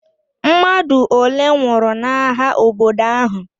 Mmadụ ole nwụrụ n'agha obodo ahụ?